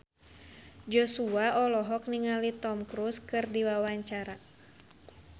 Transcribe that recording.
Joshua olohok ningali Tom Cruise keur diwawancara